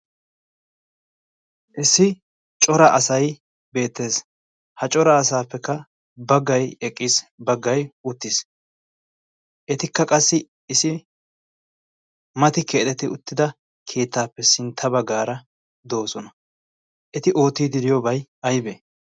issi cora asay beettees. ha cora asaappekka baggay eqqiis. baggay uttiis. etikka qassi isi mati keexeti uttida kiittaappe sintta baggaara doosona. eti oottiidi diyoobay aybe?